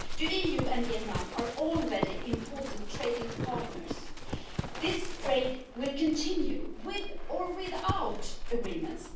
The EU and Vietnam are already important trading partners. This trade will continue, with or without agreements.